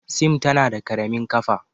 Sim tana da ƙaramin ƙafa.